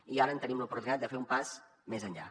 i ara tenim l’oportunitat de fer un pas més enllà